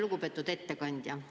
Lugupeetud ettekandja!